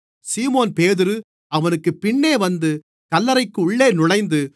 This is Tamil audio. சீமோன்பேதுரு அவனுக்குப் பின்னே வந்து கல்லறைக்குள்ளே நுழைந்து